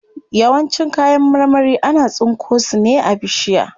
Yawancin kayan marmari ana tsinko su ne a bishiya.